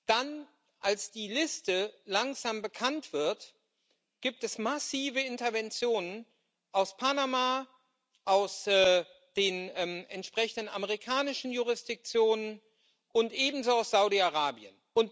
Dann, als die Liste langsam bekannt wird, gibt es massive Interventionen aus Panama, aus den entsprechenden amerikanischen Jurisdiktionen und ebenso aus Saudi Arabien.